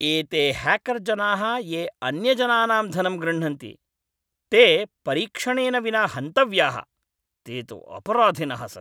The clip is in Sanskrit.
एते ह्याकर् जनाः ये अन्यजनानां धनं गृह्णन्ति, ते परीक्षणेन विना हन्तव्याः, ते तु अपराधिनः सन्ति।